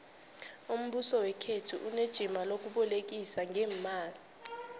umbuso wekhethu unejima lokubolekisa ngeemali